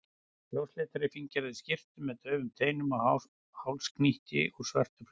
ljósleitri, fínlegri skyrtu með daufum teinum og hálsknýti úr svörtu flaueli.